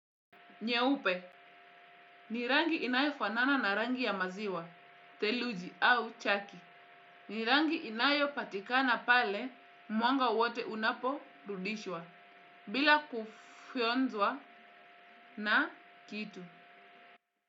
Nyeupe ni rangi inayofanana na rangi ya maziwa theluji au chaki ni rangi inayopatikana pale mwanga wote unaporudishwa bila kufionzwa na kitu.